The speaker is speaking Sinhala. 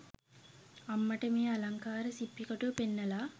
අම්මට මේ අලංකාර සිප්පි කටුව පෙන්නලා